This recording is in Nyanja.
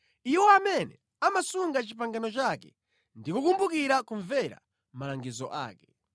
iwo amene amasunga pangano lake ndi kukumbukira kumvera malangizo ake.